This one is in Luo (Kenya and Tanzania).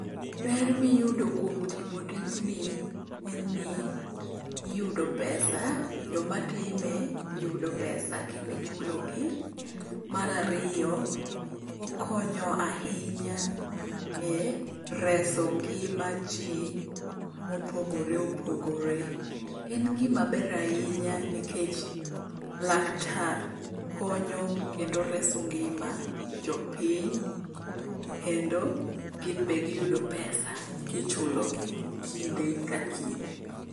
Ber miyudo kuom timo tijni en ni, iyudo pesa. Jomatime yudo pesa kendo ichulogi. Mar ariyo, okonyo ahinya e reso ngima ji mopogore opogore. En gimaber ahinya nikech laktar konyo kendo reso ngima jopiny kendo gin be giyudo pesa kichulogi kinde ka kinde.